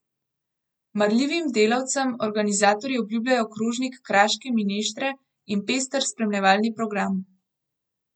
Marljivim delavcem organizatorji obljubljajo krožnik kraške mineštre in pester spremljevalni program.